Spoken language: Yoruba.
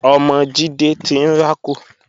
Ọmọ Jídé ti ń rákò